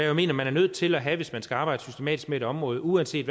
jo mener man er nødt til at have hvis man skal arbejde systematisk med et område uanset